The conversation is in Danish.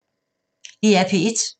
DR P1